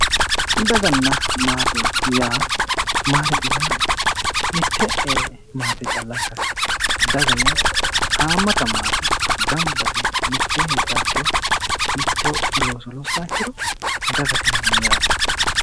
Daganna maate yaa maatete yaa mitte maate calla ikkase daga yaa haammata maate ganba yite mitte heedhaha ikkiro mitto looso lossaaha ikkiro dagate yinanni yaate